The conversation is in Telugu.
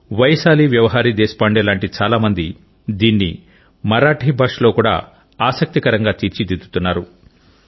వైశాలి వ్యవహరి దేశ్ పాండే లాంటి చాలా మంది దీన్ని మరాఠీ భాషలో కూడా ఆసక్తికరంగా తీర్చిదిద్దుతున్నారు